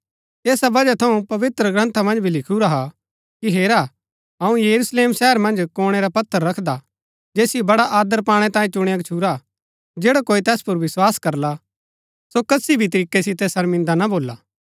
ऐसा वजह थऊँ पवित्रग्रन्था मन्ज भी लिखुरा हा कि हेरा अऊँ यरूशलेम शहर मन्ज कोणै रा पत्थर रखदा हा जैसिओ बड़ा आदर पाणै तांये चुणया गच्छुरा हा जैडा कोई तैस पुर विस्वास करला सो कसी भी तरीकै सितै शर्मिदा ना भोला